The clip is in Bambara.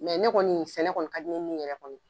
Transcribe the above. Mɛ ne kɔni sɛnɛ kɔnɔ ka di ne nin yɛrɛ kɔni ye.